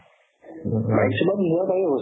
night super ত মিলাব পাৰি অৱেশ্যে